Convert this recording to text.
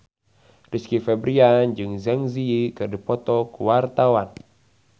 Rizky Febian jeung Zang Zi Yi keur dipoto ku wartawan